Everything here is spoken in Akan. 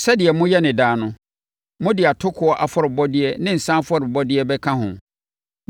Sɛdeɛ moyɛ no daa no, mode atokoɔ afɔrebɔdeɛ ne nsã afɔrebɔdeɛ bɛka ho.